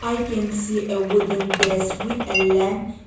i can see a wooden desk with a lamp.